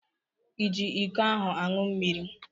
I ji iko ahụ aṅụ mmiri?